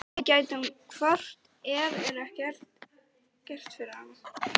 Við gætum hvort eð er ekkert gert fyrir hann.